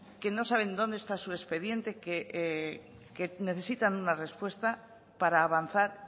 que no saben dónde está su expediente que necesitan una respuesta para avanzar